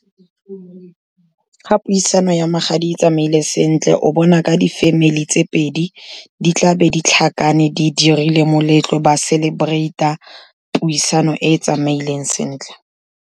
Ga puisano ya magadi e tsamaile sentle, o bona ka di-family tse pedi di tlabe di tlhakane di dirile moletlo ba celebrate-a puisano e e tsamaileng sentle.